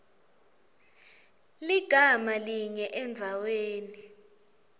ligama linye endzaweni